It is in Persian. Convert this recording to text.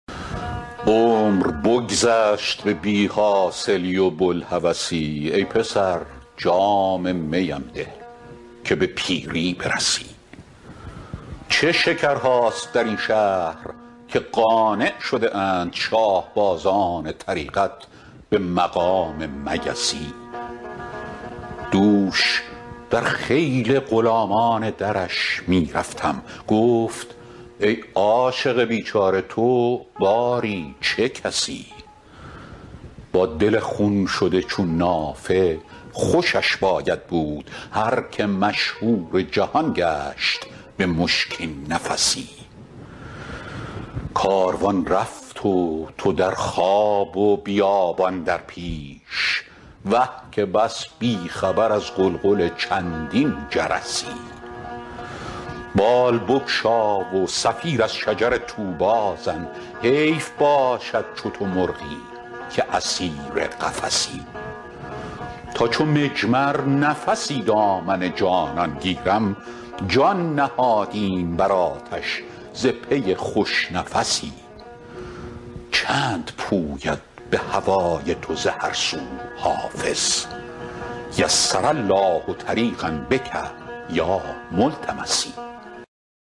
عمر بگذشت به بی حاصلی و بوالهوسی ای پسر جام می ام ده که به پیری برسی چه شکرهاست در این شهر که قانع شده اند شاه بازان طریقت به مقام مگسی دوش در خیل غلامان درش می رفتم گفت ای عاشق بیچاره تو باری چه کسی با دل خون شده چون نافه خوشش باید بود هر که مشهور جهان گشت به مشکین نفسی لمع البرق من الطور و آنست به فلعلی لک آت بشهاب قبس کاروان رفت و تو در خواب و بیابان در پیش وه که بس بی خبر از غلغل چندین جرسی بال بگشا و صفیر از شجر طوبی زن حیف باشد چو تو مرغی که اسیر قفسی تا چو مجمر نفسی دامن جانان گیرم جان نهادیم بر آتش ز پی خوش نفسی چند پوید به هوای تو ز هر سو حافظ یسر الله طریقا بک یا ملتمسی